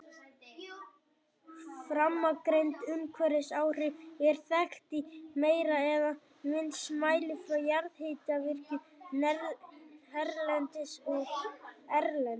Framangreind umhverfisáhrif eru þekkt í meira eða minna mæli frá jarðhitavirkjunum hérlendis og erlendis.